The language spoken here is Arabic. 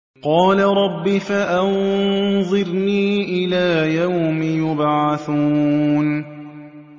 قَالَ رَبِّ فَأَنظِرْنِي إِلَىٰ يَوْمِ يُبْعَثُونَ